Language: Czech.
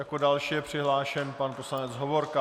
Jako další je přihlášen pan poslanec Hovorka.